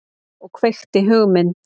Og kveikti hugmynd.